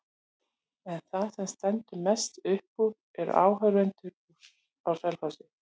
En það sem stendur mest upp úr eru áhorfendurnir á Selfossi.